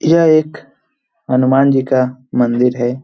यह एक हनुमान जी का मंदिर है।